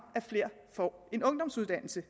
at flere får en ungdomsuddannelse